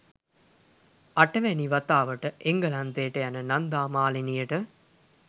අටවැනි වතාවට එංගලන්තයට යන නන්දා මාලිනියට